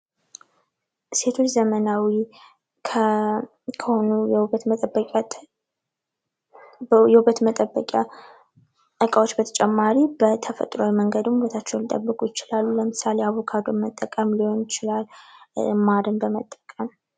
ሴቶች ዘመናዊ ከሆኑ የውበት መጠበቂያ እቃዎች በተጨማሪ በተፈጥሯዊ መንገድም ውበታቸውን ሊጠብቁ ይችላሉ ለምሳሌ አቮካዶን መጠቀም ሊሆን ይችላል ማርን በመጠቀም